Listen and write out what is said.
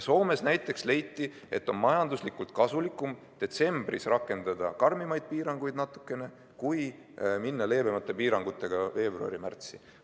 Näiteks Soomes leiti, et on majanduslikult kasulikum detsembris rakendada natukene karmimaid piiranguid kui minna leebemate piirangutega veebruari-märtsi.